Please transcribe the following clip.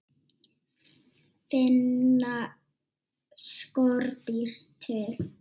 Finna skordýr til?